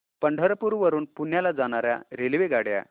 पंढरपूर वरून पुण्याला जाणार्या रेल्वेगाड्या